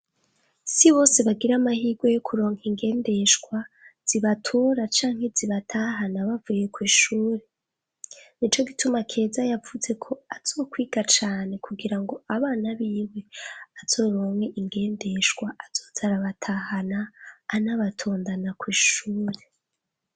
Si bose bagira amahirwe yo kuronka ingendeshwa, zibatura canke zibatahana bavuye kw'ishure. Ni co gituma Keza yavuze ko azokwiga cane kugira ngo abana biwe, azoronke ingendeshwa azoze arabatahana anabatondana kw'ishure.